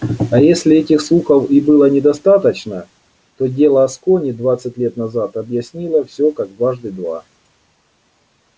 а если этих слухов и было недостаточно то дело аскони двадцать лет назад объяснило всё как дважды два